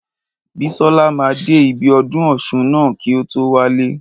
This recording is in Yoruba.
Bísọ́la máa dé ibi ọdún ọ̀ṣun ná kí o tó wálé.